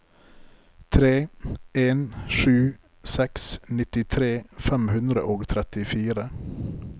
tre en sju seks nittitre fem hundre og trettifire